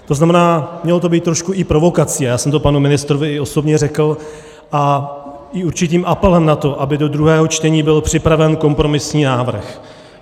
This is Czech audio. To znamená, mělo to být trošku i provokací, já jsem to panu ministrovi i osobně řekl, a i určitým apelem na to, aby do druhého čtení byl připraven kompromisní návrh.